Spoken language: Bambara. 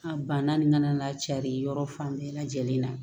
A banna nin kana cari yɔrɔ fan bɛɛ lajɛlen na